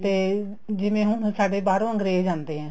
ਤੇ ਜਿਵੇਂ ਹੁਣ ਸਾਡੇ ਬਾਹਰੋ ਅੰਗਰੇਜ ਆਦੇ ਹੈ